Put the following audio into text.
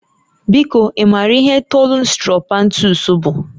Biko, ị maara ihe Thollon Sttrophanthus bụ?